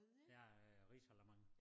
Ja ja ja risalamande